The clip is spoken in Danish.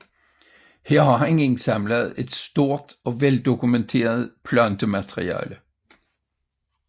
Her har han indsamlet et stort og veldokumenteret plantemateriale